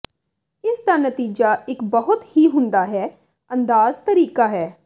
ਇਸ ਦਾ ਨਤੀਜਾ ਇੱਕ ਬਹੁਤ ਹੀ ਹੁੰਦਾ ਹੈ ਅੰਦਾਜ਼ ਤਰੀਕਾ ਹੈ